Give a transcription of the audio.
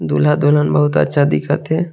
दूल्हा दुल्हन बहुत अच्छा दिखत हे।